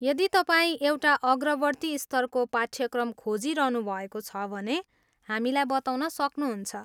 यदि तपाईँ एउटा अग्रवर्ती स्तरको पाठ्यक्रम खोजिरहनुभएको छ भने हामीलाई बताउन सक्नुहुन्छ।